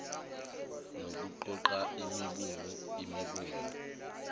nokuqoqa imibungu imibungu